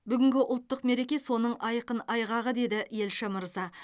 бүгінгі ұлттық мереке соның айқын айғағы деді елші мырза